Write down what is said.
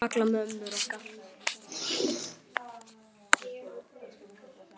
Kalla á mömmur okkar?